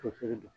Musori don